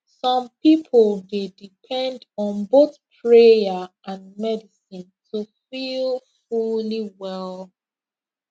some people dey depend on both prayer and medicine to feel fully well